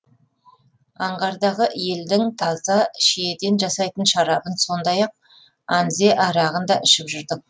аңғардағы елдің таза шиеден жасайтын шарабын сондай ақ анзе арағын да ішіп жүрдік